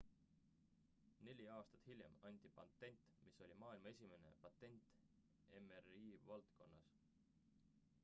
neli aastat hiljem anti patent mis oli maailma esimene patent mri valdkonnas